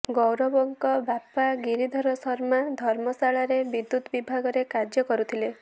ଗୌରବଙ୍କ ବାପା ଗିରିଧର ଶର୍ମା ଧର୍ମଶାଳାରେ ବିଦ୍ୟୁତ ବିଭାଗରେ କାର୍ଯ୍ୟ କରୁଥିଲେ